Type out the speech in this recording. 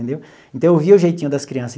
Entendeu então, eu vi o jeitinho das criança.